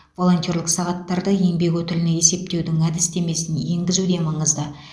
волонтерлік сағаттарды еңбек өтіліне есептеудің әдістемесін енгізу де маңызды